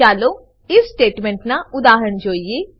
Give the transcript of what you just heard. ચાલો if statement ના ઉદાહરણ જોઈએ